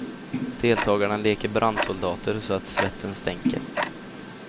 Deltagarna leker brandsoldater så att svetten stänker.